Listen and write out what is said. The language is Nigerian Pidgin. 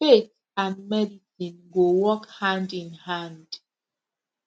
faith and medicine go work hand in hand